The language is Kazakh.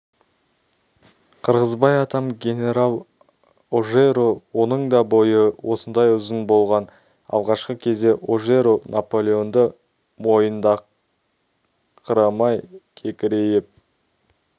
қырғызбай атам генерал ожеро оның да бойы осындай ұзын болған алғашқы кезде ожеро наполеонды мойындаңқырамай кекірейіп